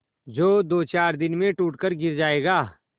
जो दोचार दिन में टूट कर गिर जाएगा